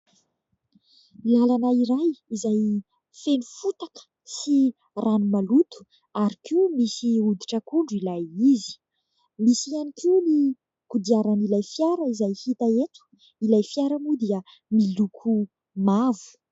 Lalana iray izay feno fotaka sy rano maloto ary koa misy hoditr'akondro ilay izy Misy ihany koa kodiaran'ilay fiara hita eto. Ny lokon'ilay fiara moa dia mavo.